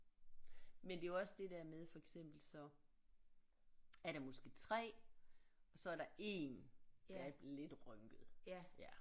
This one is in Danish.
Men det er jo også det der med for eksempel så er der måske 3 og så er der 1 der er lidt rynket ja